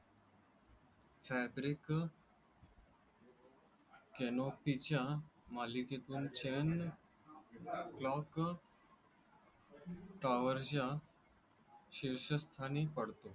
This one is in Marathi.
fabric canopy च्या मालिकेतून छान. clock tower च्या. शिर्षस्थानी पडतो.